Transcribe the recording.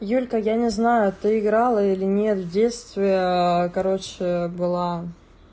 юлька я не знаю ты играла или нет в детстве короче была